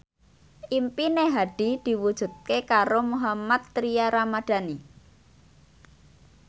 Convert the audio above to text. impine Hadi diwujudke karo Mohammad Tria Ramadhani